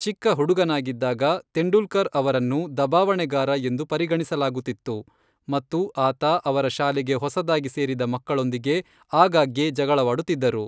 ಚಿಕ್ಕ ಹುಡುಗನಾಗಿದ್ದಾಗ, ತೆಂಡೂಲ್ಕರ್ ಅವರನ್ನು ದಬಾವಣೆಗಾರ ಎಂದು ಪರಿಗಣಿಸಲಾಗುತ್ತಿತ್ತು, ಮತ್ತು ಆತ ಅವರ ಶಾಲೆಗೆ ಹೊಸದಾಗಿ ಸೇರಿದ ಮಕ್ಕಳೊಂದಿಗೆ ಆಗಾಗ್ಗೆ ಜಗಳವಾಡುತ್ತಿದ್ದರು.